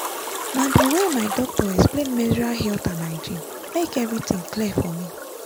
na the way my doctor explain menstrual health and hygiene make everything clear for me.